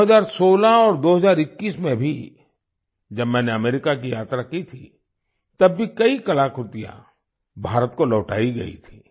2016 और 2021 में भी जब मैंने अमेरिका की यात्रा की थी तब भी कई कलाकृतियाँ भारत को लौटाई गई थी